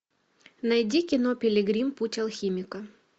найди кино пилигрим путь алхимика